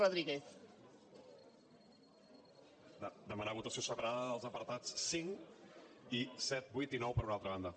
demanar votació separada dels apartats cinc i set vuit i nou per una altra banda